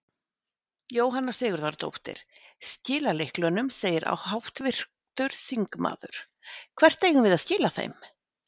Jóhanna Sigurðardóttir: Skila lyklunum segir háttvirtur þingmaður, hvert eigum við að skila þeim?